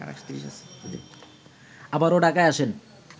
আবারো ঢাকায় আসেন